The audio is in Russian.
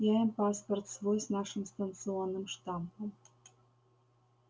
я им паспорт свой с нашим станционным штампом